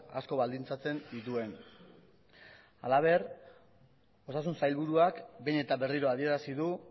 asko baldintzatzen dituen halaber osasun sailburuak behin eta berriro adierazi du